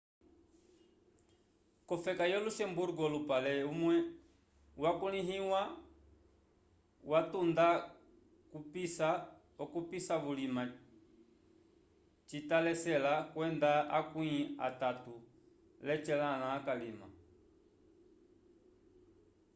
kofeka yo luxemburgo olupale umwe hwakuliwa vatuda vupica vulima cita lecela kwenda akwi atatu lecelãlã calima